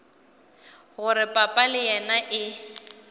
gore papa le yena e